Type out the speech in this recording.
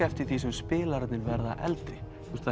eftir því sem spilararnir verða eldri